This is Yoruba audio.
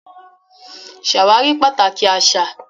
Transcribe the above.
Ṣé àwárí pàtàkì àṣà